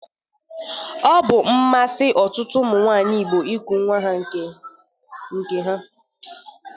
Ọ bụ mmasi tụmadị ọtụtụ ụmụ nwaanyị Igbo iku nwa nke ha.